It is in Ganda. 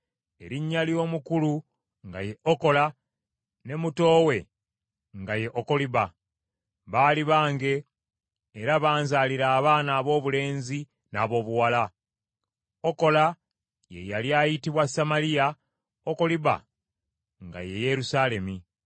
Erinnya ly’omukulu nga ye Okola, ne muto we nga ye Okoliba. Baali bange, era banzalira abaana aboobulenzi n’aboobuwala. Okola ye yali ayitibwa Samaliya, Okoliba nga ye Yerusaalemi.